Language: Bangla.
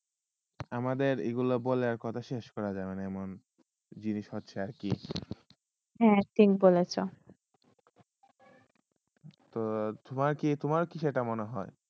আমাদের এইগুলা বলে এখন শেষ করা যায়না এখন জিনিস হোত্সয়ে আর কি হয়ে ঠিক বলে তোমার কি তোমার কি সেটা মনে হয়